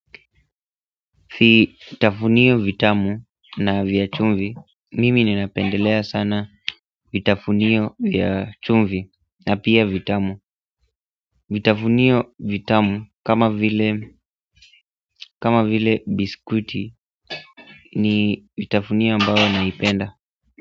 Vitafunio vitamu na vya chumvi mimi ninapendelea sana vitafunio vya chumvi na pia vitamu. Vitafunio vitamu kama vile biskuti ni vitafunio ambao naipenda.